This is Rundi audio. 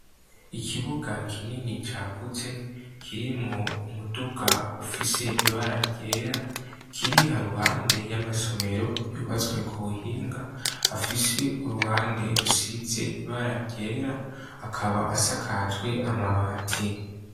Ikibuga kinini cagutse kirimwo umuduga ufise ibara ryera kiri haruhande y'amasomero yubatswe ku buhinga afise uruhande rusize ibara ryera akaba asakajwe amabati.